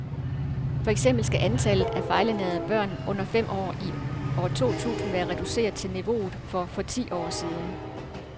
For eksempel skal antallet af fejlernærede børn under fem år i år to tusind være reduceret til niveauet for for ti år siden.